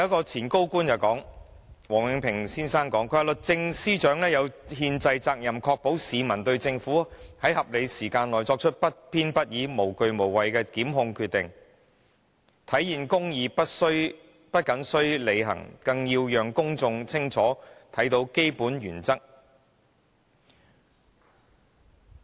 前高官王永平先生表示，"律政司司長有憲制責任確保市民對政府在合理時間內作出不偏不倚、無畏無懼的檢控決定有充分信心，體現公義不謹須履行，更要讓公眾清楚看到基本原則"。